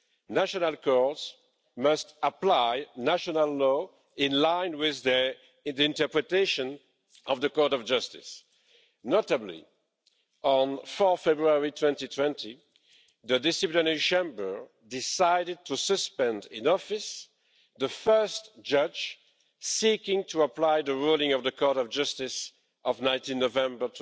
National courts must apply national law in line with the interpretation of the Court of Justice. Notably, on 4 February 2020, the Disciplinary Chamber decided to suspend in office the first judge seeking to apply the ruling of the Court of Justice of 19 November